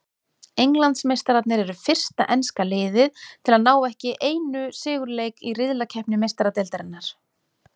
Englandsmeistararnir eru fyrsta enska liðið til að ná ekki einu sigurleik í riðlakeppni Meistaradeildarinnar.